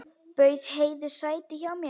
Bauð Heiðu sæti hjá mér.